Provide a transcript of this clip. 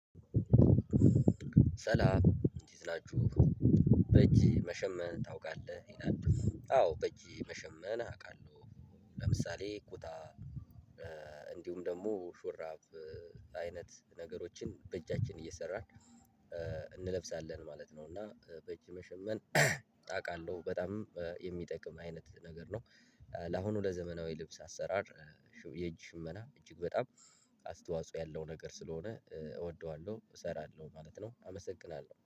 ሰላም እንዴት ናችሁ? በእጅ መሸመን ታውቃለህ ይላል? አዎ በእጄ መሸመን አውቃለሁ ለምሳሌ ቁጣ። እንዲሁም ደግሞ ሹራብ አይነት ነገሮችን በእጃችን እየሰራን እንለብሳለን ማለት ነው። እና በእጅ መሸመን አውቃለሁ በጣም የሚጠቅም አይነት ነገር ነው። ለአሁኑ ለዘመናዊ ልብስ አሰራር የእጅ ሽመና እጅግ በጣም አስተዋጽኦ ያለው ነገር ስለሆነ እወደዋለሁ እሰራለሁ ማለት ነው። አመሰግናለሁ